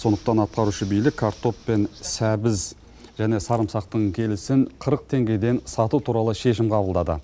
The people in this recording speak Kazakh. сондықтан атқарушы билік картоп пен сәбіз және сарымсақтың келісін қырық теңгеден сату туралы шешім қабылдады